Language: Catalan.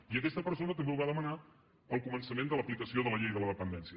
i aquesta persona també ho va demanar al començament de l’aplicació de la llei de la dependència